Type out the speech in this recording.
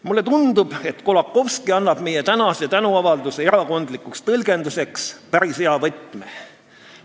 " Mulle tundub, et Kolakowski annab meie tänase tänuavalduse erakondlikuks tõlgenduseks päris hea võtme.